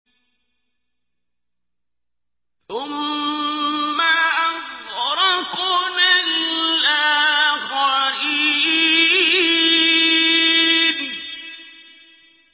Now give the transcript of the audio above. ثُمَّ أَغْرَقْنَا الْآخَرِينَ